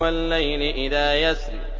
وَاللَّيْلِ إِذَا يَسْرِ